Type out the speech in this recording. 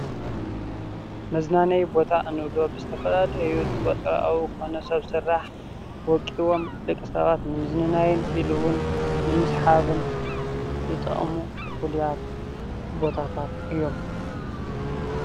መዝናነይ ቦታ እንብሎም ኣብ ዝኮነ ቦታ ብሰብ ስራሕ ወቂቦም መዝንናይ ኢሉ እውን ምስሓብን ዝጠቅሙ ፍሉያት ቦታታት እዮም።